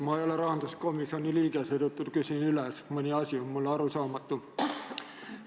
Ma ei ole rahanduskomisjoni liige, seetõttu küsin üle, sest mõni asi on mulle arusaamatu.